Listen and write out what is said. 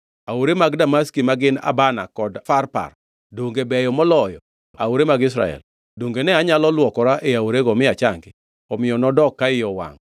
Aore man Damaski ma gin Abana kod Farpar, donge beyo moloyo aore mag Israel? Donge ne anyalo lwokora e aorego mi achangi?” Omiyo nodok ka iye owangʼ.